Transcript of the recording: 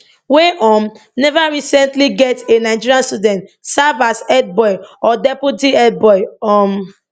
wey um neva recently get a nigerian student serve as head boy or deputy head boy um